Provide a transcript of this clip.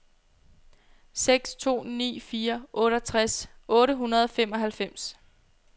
seks to ni fire otteogtres otte hundrede og femoghalvfems